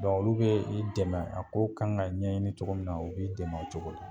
olu be i dɛmɛ , a ko kan ka ɲɛɲini cogo min na u b'i dɛmɛ o cogo la.